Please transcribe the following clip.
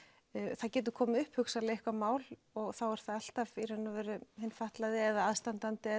það getur komið upp hugsanlega eitthvað mál og þá er það alltaf hinn fatlaði eða aðstandandi